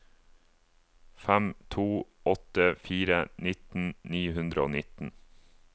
fem to åtte fire nitten ni hundre og nitten